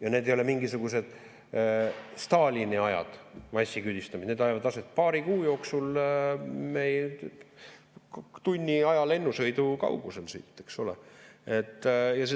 Ja need ei ole mingisugused Stalini aja massiküüditamised, need leiavad aset paari kuu jooksul tunni aja lennusõidu kaugusel siit.